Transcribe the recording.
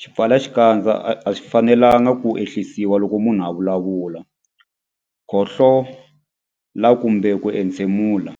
Swipfalaxikandza a swi fanelanga ku ehlisiwa loko munhu a vulavula, khohlola kumbe ku entshemula.